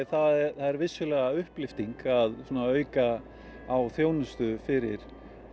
er vissulega upplyfting að auka á þjónustu fyrir